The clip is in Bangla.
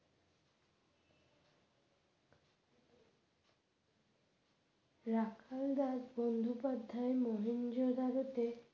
রাখাল রাজ বন্দ্যোপাধ্যায়ের মহেঞ্জোদারোতে